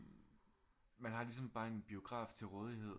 Man har ligesom bare en biograf til rådighed